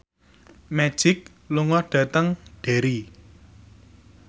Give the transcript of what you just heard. Magic lunga dhateng Derry